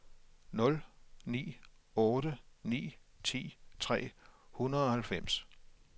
nul ni otte ni ti tre hundrede og halvfems